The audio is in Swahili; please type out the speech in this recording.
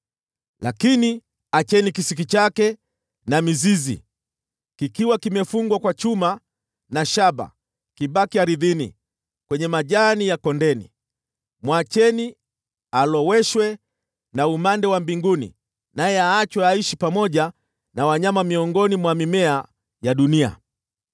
Lakini acheni kisiki chake na mizizi, kikiwa kimefungwa kwa chuma na shaba, kibaki ardhini, kwenye majani ya kondeni. “ ‘Mwacheni aloweshwe na umande wa mbinguni, naye aachwe aishi pamoja na wanyama miongoni mwa mimea ya dunia.